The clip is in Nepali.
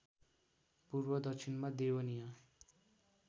पूर्व दक्षिणमा देवनिया